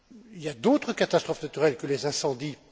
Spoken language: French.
Il y a d'autres catastrophes naturelles que les incendies.